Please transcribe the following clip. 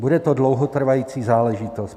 Bude to dlouhotrvající záležitost.